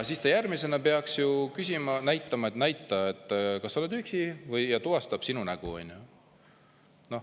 Järgmisena peaks süsteem küsima, et näita, kas sa oled üksi, või tuvastab sinu näo.